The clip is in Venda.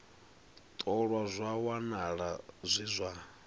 ṱolwa zwa wanala zwi zwa